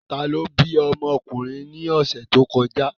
Ta ló bí ọmọ ọkùnrin ní ọ̀sẹ̀ tó kọjá?